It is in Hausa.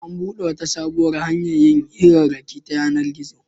An buɗe wata sabuwar hanyar yin hirarraki ta yanar-gizo.